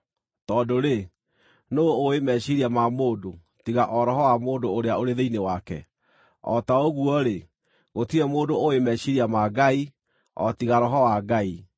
Tondũ-rĩ, nũũ ũũĩ meciiria ma mũndũ, tiga o roho wa mũndũ ũrĩa ũrĩ thĩinĩ wake? O ta ũguo-rĩ, gũtirĩ mũndũ ũũĩ meciiria ma Ngai, o tiga Roho wa Ngai.